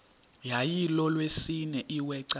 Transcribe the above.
yayilolwesine iwe cawa